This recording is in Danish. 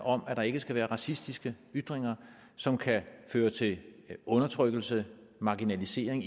om at der ikke skal være racistiske ytringer som kan føre til undertrykkelse marginalisering